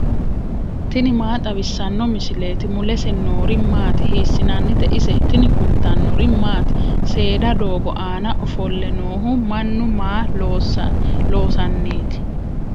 tini maa xawissanno misileeti ? mulese noori maati ? hiissinannite ise ? tini kultannori maati? Seeda doogo aanna offolle noohu mannu maa loosannitti?